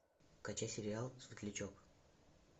качай сериал светлячок